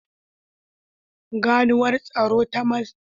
Ganuwar tsaro ta matsakaita tana kula da ƙwaƙƙwara yayin daidaita gyarawa da sarrafa haɗari.